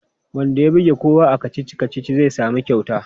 Wanda ya buge kowa a kacici-kacici zai sami kyauta.